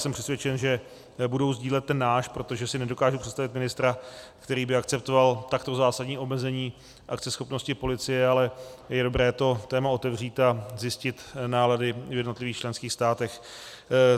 Jsem přesvědčen, že budou sdílet ten náš, protože si nedokážu představit ministra, který by akceptoval takto zásadní omezení akceschopnosti policie, ale je dobré toto téma otevřít a zjistit nálady v jednotlivých členských státech.